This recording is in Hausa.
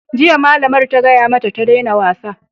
Jiya, malamar ta gaya mata ta daina wasa!